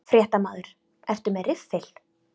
Fréttamaður: Ertu með riffil?